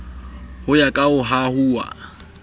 ho ya ka ho hahuwa